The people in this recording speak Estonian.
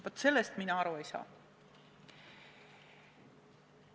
Vaat sellest mina aru ei saa.